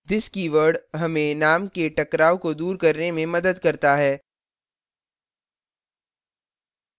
this keyword हमें name के टकराव को दूर करने में मदद करता है